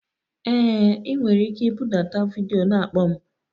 Ee, ị nwere ike ibudata vidiyo na-akpọ m.